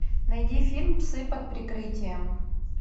найди фильм псы под прикрытием